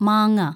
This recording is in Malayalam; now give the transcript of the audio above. മാങ്ങ